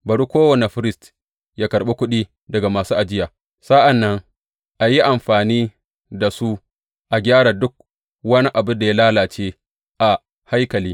Bari kowane firist yă karɓi kuɗi daga masu ajiya, sa’an nan a yi amfani da su a gyara duk wani abin da ya lalace a haikali.